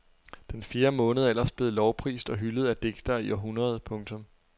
Den fjerde måned er ellers blevet lovprist og hyldet af digtere i århundreder. punktum